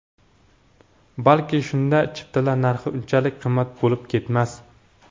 Balki shunda chiptalar narxi unchalik qimmat bo‘lib ketmas.